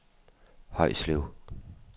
Højslev